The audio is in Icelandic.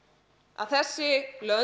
að þessi lönd